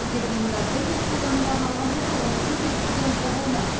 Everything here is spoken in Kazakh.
егер бұйымдар бір рет қолданылуға арналған болса оны көп рет қолдануға болмайды